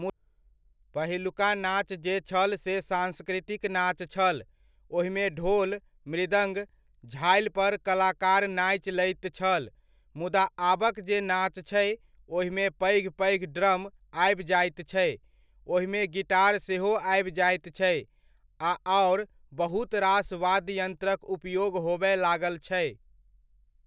पहिलुका नाच जे छल से सांस्कृतिक नाच छल, ओहिमे ढोल, मृदङ्ग, झालि पर कलाकार नाचि लैत छल, मुदा आबक जे नाच छै ओहिमे पैघ पैघ ड्रम आबि जाइत छै, ओहिमे गिटार सेहो आबि जाइत छै, आ आओर बहुत रास वाद्य यन्त्रक उपयोग होबय लागल छै।